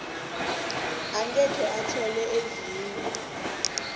angeke athola ezinye